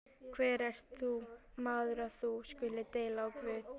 Hver ert þú, maður, að þú skulir deila á Guð?